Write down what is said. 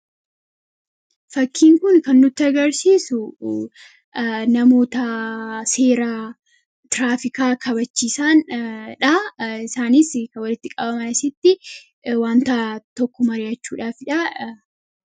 fakkiin kun kanduta garsiisu namoota seeraa tiraafikaa kabachisaandha isaani kbaitti qabamasitti wantaa 1kk mariachuuhfdh